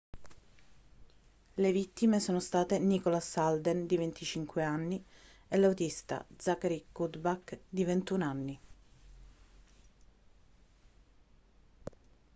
le vittime sono state nicholas alden di 25 anni e l'autista zachary cuddeback di 21 anni